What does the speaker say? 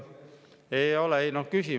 Ei ole, ei noh, küsi.